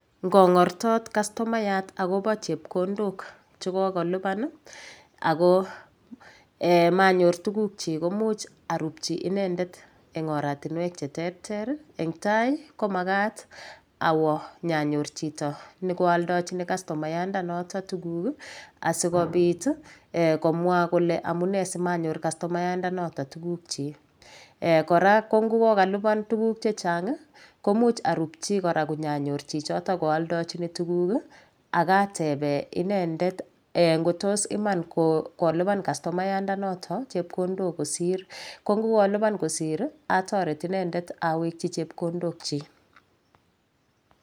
Ngong'ortot kastomayat akobo chepkondok chekokolipan ako manyor tuguk chi komuch arupchi inendet eng' oratinwek cheterter eng' tai komakat awo nyanyor chito nekooldojini kastomayanda noto tuguk asikopit komwo kole amune simanyor kastomayandanoto tuguk chi kora ko ngokokalipan tuguk chechang' komuch arupchi kora konyanyor chichoto kooldajini tuguk akatebe inendetngotos Iman kolipan kastomayandanoto chepkondok kosir ko mgokolipan kosir atoret inendet awekchi chepkondokchi